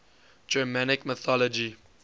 germanic mythology